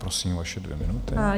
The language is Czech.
Prosím, vaše dvě minuty.